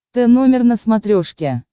тномер на смотрешке